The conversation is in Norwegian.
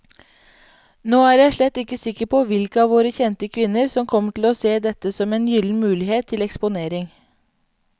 Nå er jeg slett ikke sikker på hvilke av våre kjente kvinner som kommer til å se dette som en gyllen mulighet til eksponering.